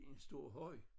En stor høj